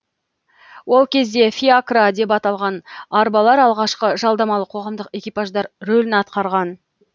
ол кезде фиакра деп аталған арбалар алғашқы жалдамалы қоғамдық экипаждар рөлін атқарған